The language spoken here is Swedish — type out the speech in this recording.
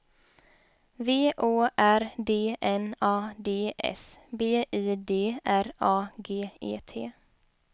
V Å R D N A D S B I D R A G E T